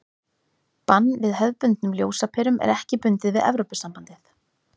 bann við hefðbundnum ljósaperum er ekki bundið við evrópusambandið